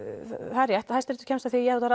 það er rétt að hæsti réttur kemst að því að